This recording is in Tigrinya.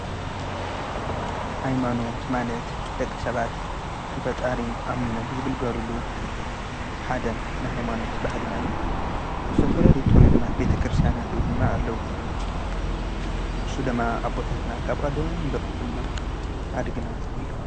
ኃይማኖት ማለት ደቂ ሰባት በጣሪ ኣሚኖም ዘግልጋሉሉ ሓደም ንኃይማኖት ባህድናዩ ዘተፈለልቱርዝማት ቤተ ክርስቲያናትኡ ድማ ኣለዉ ሱ ደማ ኣቦታትና ካብ ቀደ ምዘጥምሑና ሓድ ግና እዮም።